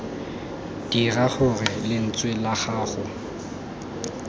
dira gore lentswe la gago